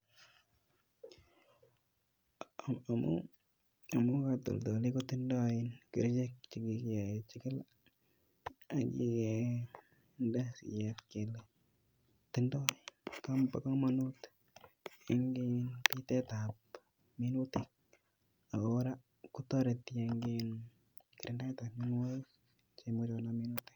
Amu amu katoldoleiwek kotindoi um kerichek chekikechikil akikende siyet kele tindoi komonut eng [um]pitetap minutik ako kora kotoreti eng um kirindaetap mienwokik cheimuchi konam minutik.